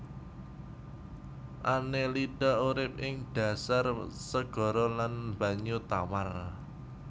Annelida urip ing dhasar segara lan banyu tawar